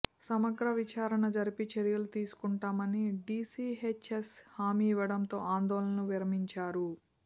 సమగ్ర విచారణ జరిపి చర్యలు తీసుకుంటామని డీసీహెచ్ఎస్ హామీ ఇవ్వడంతో ఆందోళన విరమించారు